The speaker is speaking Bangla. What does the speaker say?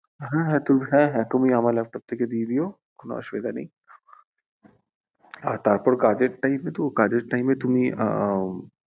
হ্যাঁ হ্যাঁ তুমি, হ্যাঁ হ্যাঁ তুমি আমার laptop থেকে দিয়ে দিও কোনো অসুবিধা নেই আর তারপর কাজের time এ তো, কাজের time এ তুমি উম